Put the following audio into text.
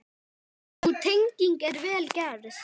Sú tenging er vel gerð.